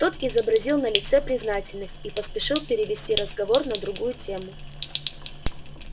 тот изобразил на лице признательность и поспешил перевести разговор на другую тему